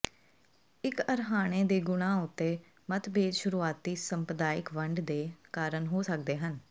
ਇਕ ਅਰਹਾਣੇ ਦੇ ਗੁਣਾਂ ਉੱਤੇ ਮਤਭੇਦ ਸ਼ੁਰੂਆਤੀ ਸੰਪਰਦਾਇਕ ਵੰਡ ਦੇ ਕਾਰਨ ਹੋ ਸਕਦੇ ਹਨ